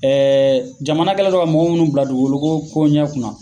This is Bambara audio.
Ɛɛ jamana kɛlen don ka mɔgɔ munnu bila dugukolo ko ɲɛ kunna